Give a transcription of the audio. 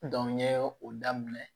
n ye o daminɛ